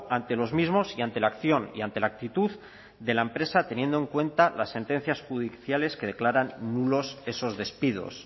ante los mismos y ante la acción y ante la actitud de la empresa teniendo en cuenta las sentencias judiciales que declaran nulos esos despidos